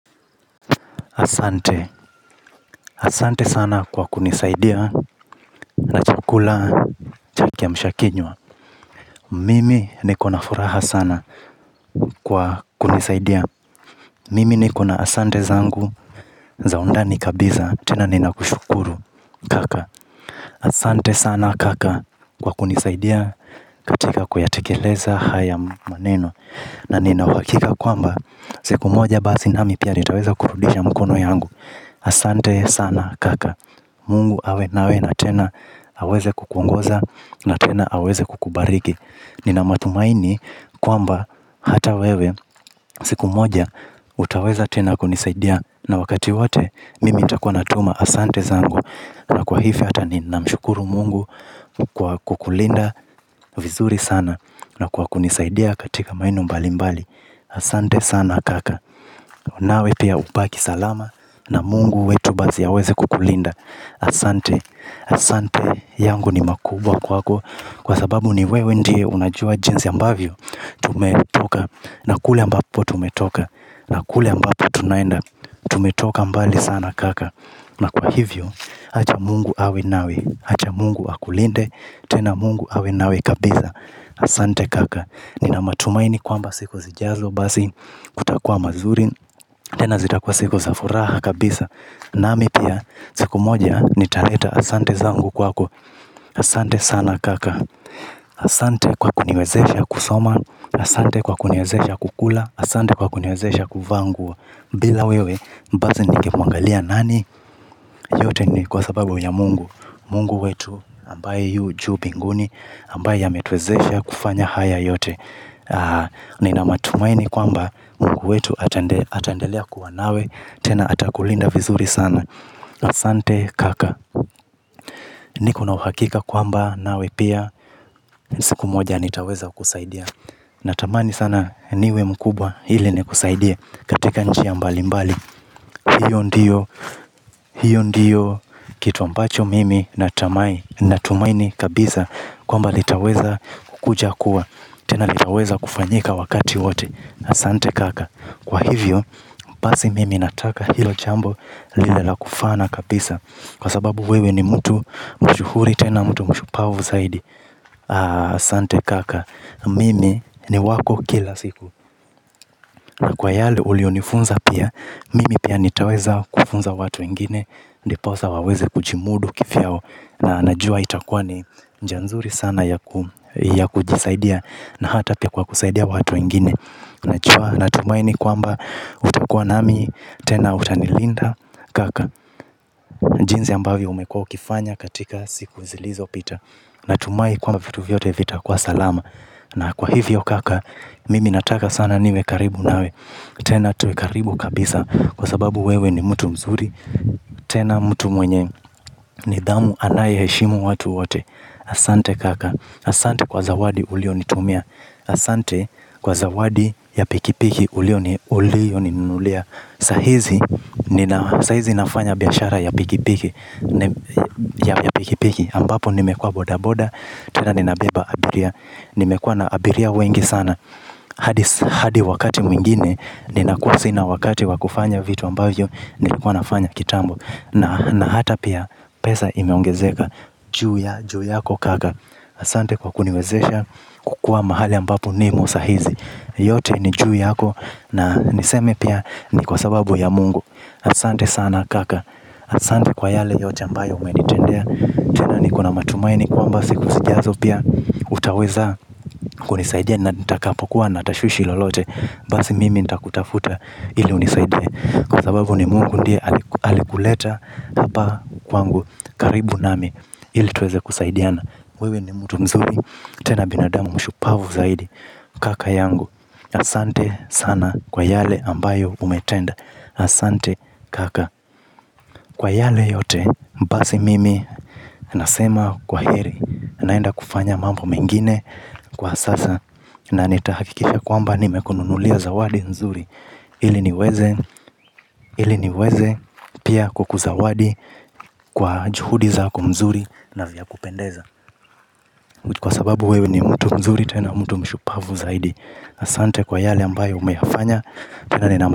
Asante. Asante sana kwa kunisaidia na chakula cha kiamshakinywa. Mimi nikona furaha sana kwa kunisaidia. Mimi nikona asante zangu za undani kabisa tena ninakushukuru kaka. Asante sana kaka kwa kunisaidia katika kuyatekeleza haya maneno. Na nina uhakika kwamba siku moja basi nami pia nitaweza kurudisha mkono yangu. Asante sana kaka Mungu awe nawe na tena aweze kukungoza na tena aweze kukubariki. Nina matumaini kwamba hata wewe siku moja utaweza tena kunisaidia na wakati wote mimi nitakuwa natuma. Asante zangu. Na kwa hivyo hata ninamshukuru mungu. Kukulinda vizuri sana na kwa kunisaidia katika mbinu mbali mbali. Asante sana kaka nawe pia ubaki salama. Na mungu wetu basi ya aweze kukulinda asante asante yangu ni makubwa kwako kwa sababu ni wewe ndiye unajua jinsi ambavyo tumetoka na kule ambapo tumetoka na kule ambapo tunaenda. Tumetoka mbali sana kaka na kwa hivyo acha Mungu awe nawe acha mungu akulinde tena mungu awe nawe kabisa. Asante kaka nina matumaini kwamba siku zijazo basi kutakua mazuri tena zitakua siku za furaha kabisa. Nami pia, siku moja nitaleta asante zangu kwako, asante sana kaka, asante kwa kuniwezesha kusoma, asante kwa kuniwezesha kukula, asante kwa kuniwezesha kuvaa nguo. Bila wewe, basi ningemwangalia nani, yote ni kwa sababu ya mungu, mungu wetu ambaye yu juu mbinguni, ambaye ametuwezesha kufanya haya yote. Nina matumaini kwamba mungu wetu ataendelea kuwa nawe tena atakulinda vizuri sana asante kaka nikona uhakika kwamba nawe pia. Siku moja nitaweza kusaidia. Natamani sana niwe mkubwa hili nikusaidie katika njia mbalimbali. Hiyo ndiyo, hiyo ndiyo. Kitu ambacho mimi natamani natumaini kabisa kwamba litaweza kukuja kuwa tena litaweza kufanyika wakati wote asante kaka. Kwa hivyo, basi mimi nataka hilo jambo liwe la kufana kabisa. Kwa sababu wewe ni mtu mshuhuri tena mtu mshupavu zaidi asante kaka mimi ni wako kila siku. Na kwa yale, uliyonifunza pia. Mimi pia nitaweza kufunza watu weingine ndiposa waweze kujimudu kivyao na najua itakua ni njia nzuri sana ya ya kujisaidia na hata pia kwa kusaidia watu wengine najua natumaini kwamba utakua nami tena utanilinda kaka. Jinsi ambavyo umekua ukifanya katika siku zilizopita. Natumahi kwamba vitu vyote vitakua salama. Na kwa hivyo kaka mimi nataka sana niwe karibu nawe. Tena tuwe karibu kabisa kwa sababu wewe ni mtu mzuri. Tena mtu mwenye nidhamu anayeheshimu watu wote. Asante kaka asante kwa zawadi uliyonitumia. Asante kwa zawadi ya pikipiki uliyoninunulia saa hizi ninafanya biashara ya pikipiki ambapo nimekua bodaboda. Tena ninabeba abiria. Nimekua na abiria wengi sana. Hadi wakati mwingine ninakuwa sina wakati wa kufanya vitu ambavyo nilikuwa nafanya kitambo na hata pia pesa imeongezeka juu yako kaka asante kwa kuniwezesha kukua mahali ambapo nimo saa hizi yote ni juu yako na niseme pia ni kwa sababu ya Mungu, asante sana kaka asante kwa yale yote ambayo umenitendea tena nikona matumaini kwamba siku zijazo pia. Utaweza kunisaidia nitakapokuwa na tashwishi lolote. Basi mimi nitakutafuta ili unisaidie. Kwa sababu ni mungu ndiye alikuleta. Hapa kwangu karibu nami ili tuweze kusaidiana. Wewe ni mtu mzuri. Tena binadamu mshupavu zaidi. Kaka yangu. Asante sana kwa yale ambayo umetenda. Asante kaka. Kwa yale yote basi mimi nasema kwaheri naenda kufanya mambo mengine kwa sasa. Na nitahakikisha kwamba nimekununulia zawadi nzuri ili niweze ili niweze pia kukuzawadi kwa juhudi zako nzuri na vya kupendeza. Kwa sababu wewe ni mtu mzuri tena mtu mshupavu zaidi asante kwa yale ambayo umeyafanya tena nina.